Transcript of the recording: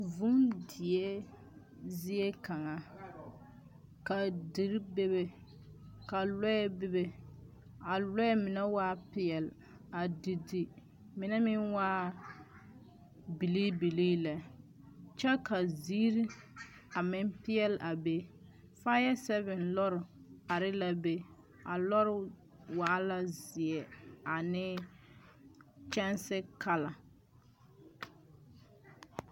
Vūū die zie kaŋa. Ka diri be be, ka lɔɛ bi be. A lɔɛ mine waa peɛl, a di di. Mine meŋ waa bilii bilii lɛ, kyɛ ka ziiri a meŋ peɛl a be. Faaya sɛɛve lɔre are la be. A lɔre waa la zeɛ, ane kyɛnse kala.